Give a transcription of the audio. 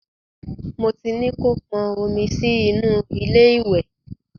Mo ti ní kó pọn omi sí inú ilé ìwẹ̀.